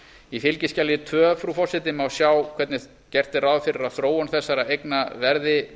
í fylgiskjali tvö frú forseti má sjá hvernig gert er ráð fyrir að þróun þessara eigna verði